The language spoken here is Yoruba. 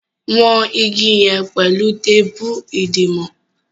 wón ìgi yen pẹlu teepu idiwọn